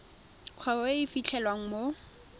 kgwebo e e fitlhelwang mo